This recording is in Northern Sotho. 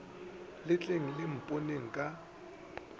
le tleng le mponeng ka